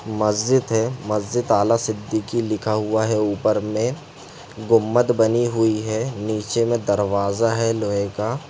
मस्जिद है मस्जिद आला सिद्दीकी लिखा हुआ है ऊपर में गुम्बद बानी हुयी है निचे में दरवाजा है लोहे का ।